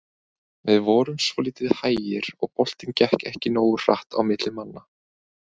Við vorum svolítið hægir og boltinn gekk ekki nógu hratt á milli manna.